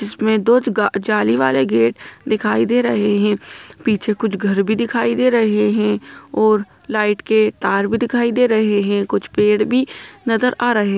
इसमें दो जाली वाले गेट दिखाई दे रहे है पीछे कुछ घर भी दिखाई दे रहे है और लाइट के तार भी दिखाई दे रहे है कुछ पेड़ भी नजर आ रहे है ।